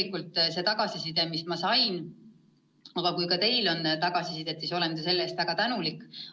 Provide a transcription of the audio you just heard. Kui teil on selle kohta infot, siis ma olen selle jagamise eest väga tänulik.